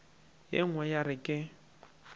ye nngwe ya re ke